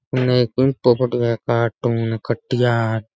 अन्ने एक पिंपो खड़ो है कार्टून कटिया --